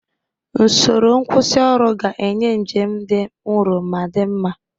Usoro nkwusioru ga-enye njem dị nro ma dị mma.